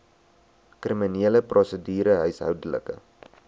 kriminele prosedure huishoudelike